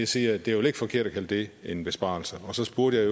siger er det er vel ikke forkert at kalde det en besparelse og så spurgte jeg